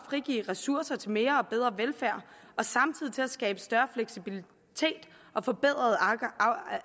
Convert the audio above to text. frigive ressourcer til mere og bedre velfærd og til at skabe større fleksibilitet og forbedret